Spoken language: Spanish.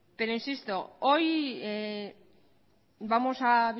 pero insisto hoy vamos a